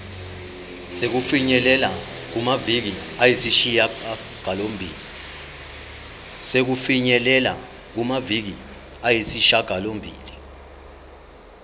sokufinyelela kumaviki ayisishagalombili